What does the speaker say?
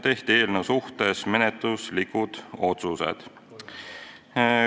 Eelnõu suhtes tehti menetluslikud otsused.